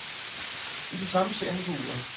I det samme ser han på uret.